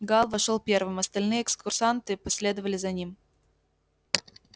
гаал вошёл первым остальные экскурсанты последовали за ним